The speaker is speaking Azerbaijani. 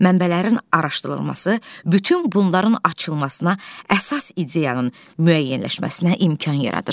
Mənbələrin araşdırılması bütün bunların açılmasına, əsas ideyanın müəyyənləşməsinə imkan yaradır.